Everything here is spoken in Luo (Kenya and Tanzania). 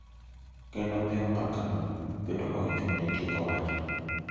Kendo miyo mbakano bedo ma ochung’ne tieko wachno .